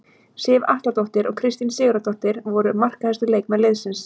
Sif Atladóttir og Kristín Sigurðardóttir voru markahæstu leikmenn liðsins.